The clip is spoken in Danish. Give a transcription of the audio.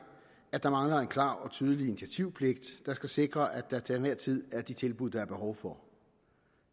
at der mangler en klar og tydelig initiativpligt der skal sikre at der til enhver tid er de tilbud der er behov for